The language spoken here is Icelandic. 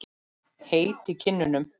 Heit í kinnum.